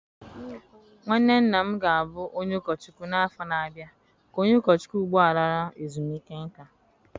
Nwanne nna m ga-abụ onye ụkọchukwu n'afọ na-abịa ka onye ụkọchukwu ugbu a lara ezumike nká